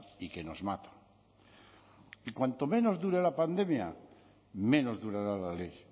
y que nos mata y cuanto menos dure la pandemia menos durará la ley